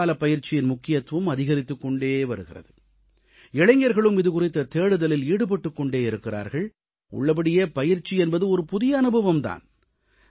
கோடைக்காலப் பயிற்சியின் முக்கியத்துவம் அதிகரித்துக் கொண்டே வருகிறது இளைஞர்களும் இதுகுறித்த தேடுதலில் ஈடுபட்டுக் கொண்டே இருக்கிறார்கள் உள்ளபடியே பயிற்சி என்பது ஒரு புதிய அனுபவம் தான்